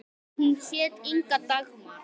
Hún hét Inga Dagmar.